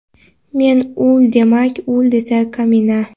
Men — ul demak, ul esa — Kamina.